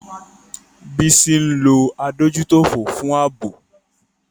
Bisi ń lo adójútòfò fún ààbò.